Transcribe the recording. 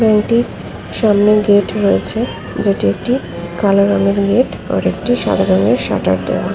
সামনে গেট রয়েছে যেটি কালো রঙের এবং সাদা রঙের শাটার দেয়া ।